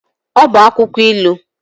Ọ bụ akwụkwọ ilu.